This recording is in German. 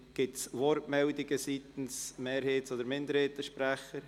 Gibt es Wortmeldungen seitens der Mehrheits- oder Minderheitssprecher?